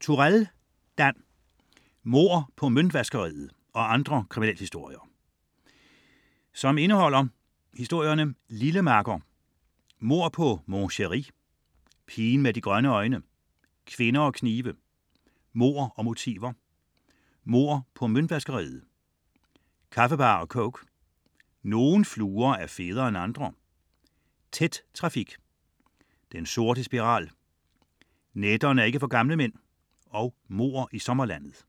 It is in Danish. Turèll, Dan: Mord på møntvaskeriet og andre kriminalhistorier Indhold: Lille makker; Mord på Mon Chérie; Pigen med de grønne øjne; Kvinder og knive; Mord og motiver; Mord på møntvaskeriet; Kaffebar og coke; Nogle fluer er federe end andre; Tæt trafik; Den sorte spiral; Nætterne er ikke for gamle mænd; Mord i sommerlandet.